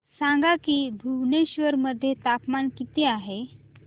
सांगा की भुवनेश्वर मध्ये तापमान किती आहे